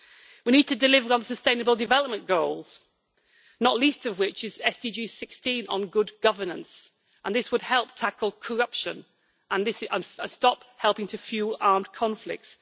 We need to deliver on sustainable development goals, not least of which is SDG 16 on good governance, and this would help tackle corruption and stop fuelling armed conflicts.